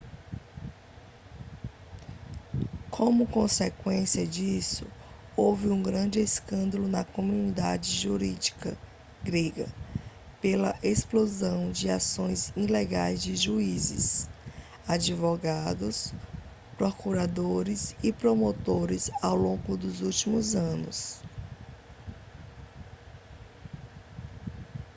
como consequência disso houve um grande escândalo na comunidade jurídica grega pela exposição de ações ilegais de juízes advogados procuradores e promotores ao longo dos últimos anos